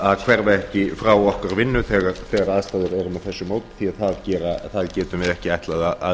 að hverfa ekki frá okkar vinnu þegar aðstæður eru með þessu móti því það getum við ekki ætlað